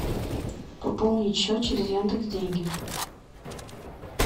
пополнить счет через яндекс деньги